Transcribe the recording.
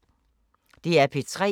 DR P3